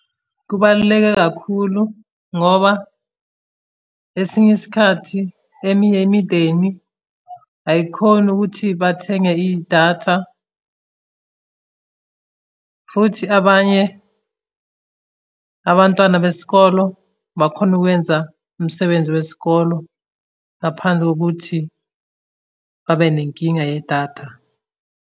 Kubaluleke kakhulu ngoba, esinye isikhathi eminye imindeni ayikhoni ukuthi bathenge idatha, futhi abanye abantwana besikolo bakhona ukwenza umsebenzi wesikolo ngaphandle kokuthi babe nenkinga yedatha.